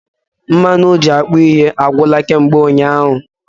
Mmanụ oji akpụ ihe agwụla kamgbe ụnyaahụ